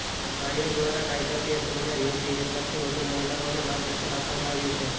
આયોગ દ્વારા કાયદાકીય સેમિનાર યોજી એક લાખથી વધુ મહિલાઓને માર્ગદર્શન આપવામાં આવ્યું છે